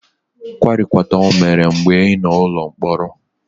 Kwarikwata o mere mgbe ị nọ n'ụlọ mkpọrọ?